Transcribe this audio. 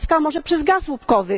Polska może przez gaz łupkowy.